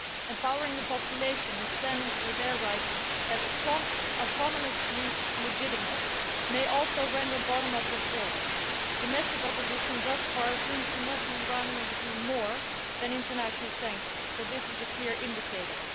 Empowering the population and standing up for their rights as autonomously legitimate may also render bottom up reforms. Domestic opposition thus far seems to move the Iranian regime more than international sanctions, so this is a clear indicator.